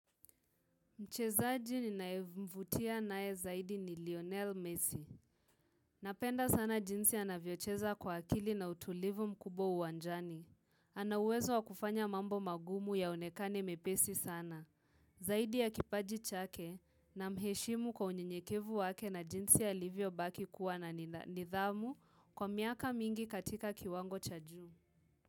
Mchezaji ninaevuvutia nae zaidi ni Lionel Messi. Napenda sana jinsi anavyocheza kwa akili na utulivu mkubwa uwanjani. Ana uwezo wakufanya mambo magumu yaonekane mepesi sana. Zaidi ya kipaji chake namheshimu kwa unyenyekevu wake na jinsi alivyo baki kuwa na nidhamu kwa miaka mingi katika kiwango cha juu.